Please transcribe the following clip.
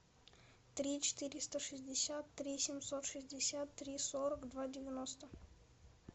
три четыреста шестьдесят три семьсот шестьдесят три сорок два девяносто